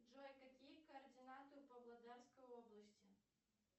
джой какие координаты у павлодарской области